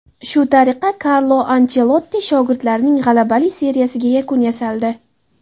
Shu tariqa Karlo Anchelotti shogirdlarining g‘alabali seriyasiga yakun yasaldi.